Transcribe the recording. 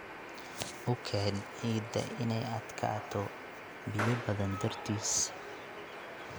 U keen ciidda inay adkaato biyo badan dartiis.